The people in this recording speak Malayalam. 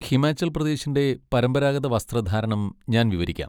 ഹിമാചൽ പ്രദേശിന്റെ പരമ്പരാഗത വസ്ത്രധാരണം ഞാൻ വിവരിക്കാം.